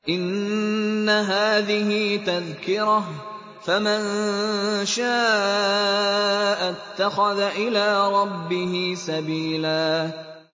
إِنَّ هَٰذِهِ تَذْكِرَةٌ ۖ فَمَن شَاءَ اتَّخَذَ إِلَىٰ رَبِّهِ سَبِيلًا